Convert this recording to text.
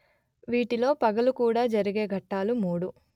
వీటిలో పగలు కూడ జరిగే ఘట్టాలు మూడు